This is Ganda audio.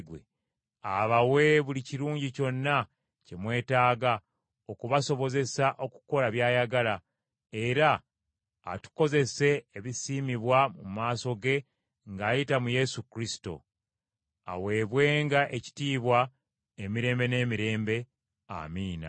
abawe buli kirungi kyonna kye mwetaaga okubasobozesa okukola by’ayagala, era atukozese ebisiimibwa mu maaso ge ng’ayita mu Yesu Kristo. Aweebwenga ekitiibwa emirembe n’emirembe. Amiina.